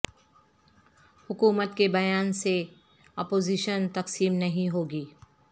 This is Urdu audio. حکومت کے بیان سے اپوزیشن تقسیم نہیں ہو گی